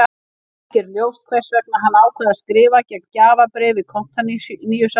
Ekki er ljóst hvers vegna hann ákvað að skrifa gegn gjafabréfi Konstantínusar.